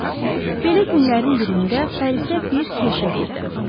Belə günlərin birində Parisə bir kirşə girdi.